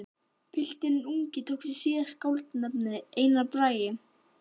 Pilturinn ungi tók sér síðar skáldanafnið Einar Bragi.